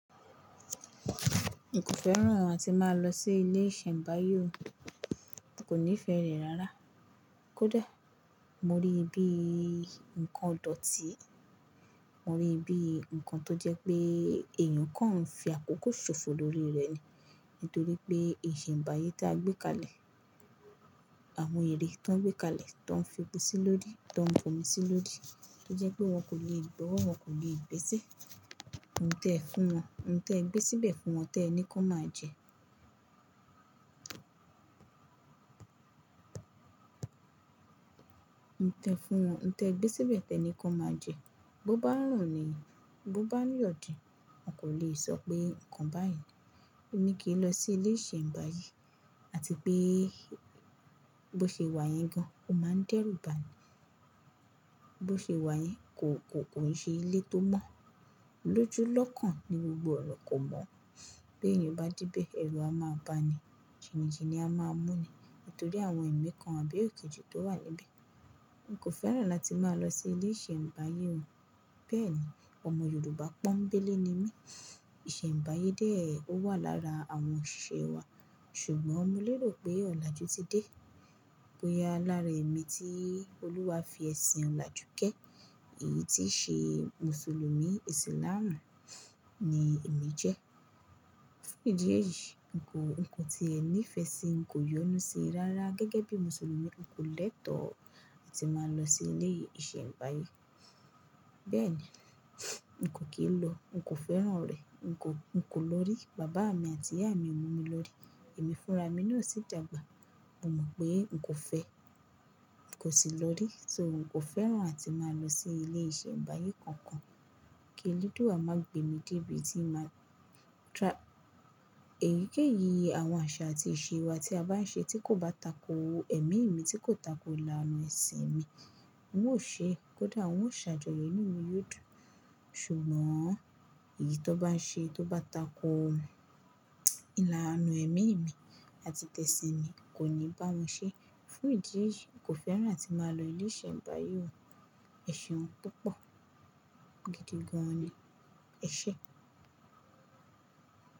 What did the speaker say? N kò fẹ́ràn àti máa lọ sí ilé ìsẹ̀mbáyé o. N kò nífẹ̀ẹ́ rẹ̀ rárá. Kódà mo ríi bí ǹkan idòtí, mo ríi bí ǹkan tó jẹ́ pé èèyàn kan ń fi àkókò ṣòfò lórí rẹ̀ ni. Nítorí pé ìsẹ̀mbáyé tí a gbé kalẹ̀, àwọn ère tó ń gbé kalẹ̀ tó ń fi epo sílórí, tó ń fòmi sílórí tó jẹ́ pé wọn kò le gbọ́wọ́, wọn kò le gbèsè, ǹtẹ́ fún wọn, ǹtẹ́ gbé síbẹ̀ fún wọn ti ẹni ki won máa jẹ. Ǹtẹ́ fún wọn, ǹtẹ́ gbé síbẹ̀ ti ẹni kó won máa jẹ. Bo bá n rùn ni, bo bá n yọ̀ din, wọn kò le sọ pé nǹkan báyìí, o ní kí n lọ sí ilé ìsẹ̀mbáyé àti pé bó ṣe wá yẹn gan, o máa ń dẹ́rù ba ni. Bo ṣe wá yẹn kò, kò, kò ń ṣe ilé tó mọ́. Lójú lókàn ni gbogbo ọna kò mọ́. Bí èèyàn bá debẹ̀, ẹ̀rù a máa ba ni, jìnijìni a máa mú ni. Nítorí àwọn ẹ̀mí kan, àbí ekèji tó wà níbẹ̀. N kò fẹ́ràn láti máa lọ sí ilé ìsẹ̀mbáyé o. Bẹ́ẹ̀ni. Ọmọ Yorùbá pọ́nńbélé ni mí. Ìsẹ̀mbáyé dé o wà lára àwọn osiṣe wa, ṣùgbọ́n mo lérò pé ọ̀làjú ti dé. Bóya lára ẹ̀mí tí Olúwa fi ẹ̀sìn ọ̀làjú ké. Èyí tí í ṣe Mùsùlùmí, isilaamú ni èmi jẹ́. Fún ìdí èyí, n kò, nǹkan tí è ni nífẹ̀sí n kò yọnú síi rárá gẹ́gẹ́ bí Mùsùlùmí. N kò lẹ́tọ̀ọ́ láti máa lọ sí ilé ìsẹ̀mbáyé. Bẹ́ẹ̀ ni. N kò kì n lọ, n kò fẹ́ràn rẹ̀, n kò, n kò lórí. Bàbá mi àti ìyá mi o mú mi lórí. Ẹ̀mí fúnra mi náà sì dàgbà. Mo mọ̀ pé n kò fẹ́, n kò sì lọ rí. So n kò fẹ́ràn àti máa lọ sí ilé ìsẹ̀mbáyé kankan. Kí eledùa máa gbé mi débi tíì máa ta-- èyíkéyìí àwọn àṣà àti ìṣe wa tí a bá ń ṣe tí kò bá tako ẹ̀mí mi tí kò tako ìlànà ẹ̀sìn mi, n ó ṣe é. Kódà wọn ó ṣàjọyọ̀ inu mi yoo dun. Ṣùgbọ́n èyí tó bá ń ṣe, tó bá tako ìlànà ẹ̀mí mi àti tẹ̀sìn mi kò ní bá won ṣe. Fún ìdí eyìí, n kò fẹ́ràn àti máa lọ ilé ìsẹ̀mbáyé o. Ẹ̀ṣẹ̀un púpọ̀. Gidi gan ni. Ẹ ṣé.